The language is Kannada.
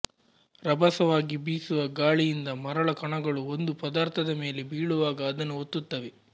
ರಭಸವಾಗಿ ಬೀಸುವ ಗಾಳಿಯಿಂದ ಮರಳ ಕಣಗಳು ಒಂದು ಪದಾರ್ಥದ ಮೇಲೆ ಬೀಳುವಾಗ ಅದನ್ನು ಒತ್ತುತ್ತವೆ